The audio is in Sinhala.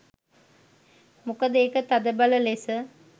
මොකද එක තදබල ලෙස